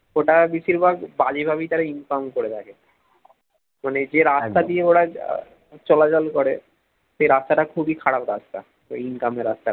ওটা বেশিরভাগ বাজে ভাবেই তারা income করে থাকে, মানে যে রাস্তা দিয়ে ওরা আহ চলাচল করে সে রাস্তাটা খুবই খারাপ রাস্তা ওই income এর রাস্তাটা